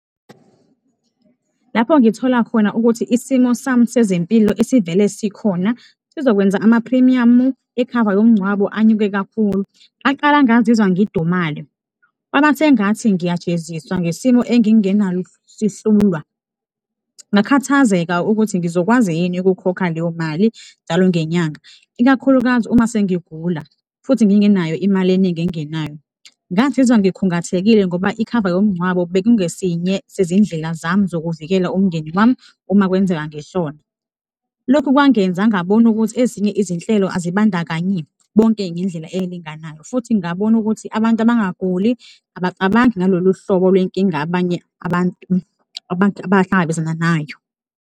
Lapho ngithola khona ukuthi isimo sami sezempilo esivele sikhona sizokwenza amaphrimiyamu ekhava yomngcwabo anyuke kakhulu, ngaqala ngazizwa ngidumale. Kwabasengathi ngiyajeziswa ngesimo engingenasihlulwa, ngakhathazeka ukuthi ngizokwazi yini ukukhokha leyo mali njalo ngenyanga, ikakhulukazi uma sengigula futhi ngingenayo imali eningi engenayo. Ngazizwa ngikhungathekile ngoba ikhava yomngcwabo bekungesinye sezindlela zami zokuvikela umndeni wami uma kwenzeka ngishona, lokhu kwangenza ngabona ukuthi ezinye izinhlelo azibandakanyi bonke ngendlela elinganayo futhi ngabona ukuthi abantu abangaguli abacabangi ngalolu hlobo lwenkinga abanye abantu abahlangabezana nayo.